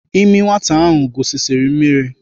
Ịmị nwata ahụ gusisiri mmiri.